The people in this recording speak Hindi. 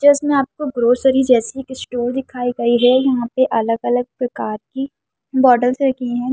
जिसमे आपको ग्रोसरी जैसी एक स्टोर दिखाई गई हैं यहाँ पे अलग-अलग प्रकार की बोटलस से रखी हैं ।